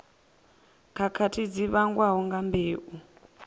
khakhathi dzi vhangwaho nga mbeu